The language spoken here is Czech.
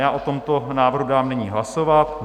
Já o tomto návrhu dám nyní hlasovat.